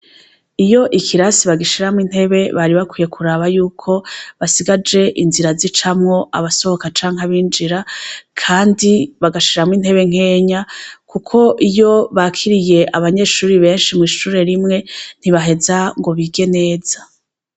Iyo ikirasi bagashiramwo intebe bari bakwiye kuraba yuko basigaje inzira zicamwo abasohoka canke abinjira. Kandi bagashiramwo intebe nkeya kuko iyo bakiriye abanyeshure benshi mw'ishure rimwe ntibaheza ngo bige neza.